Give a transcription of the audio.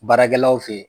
Baarakɛlaw fe ye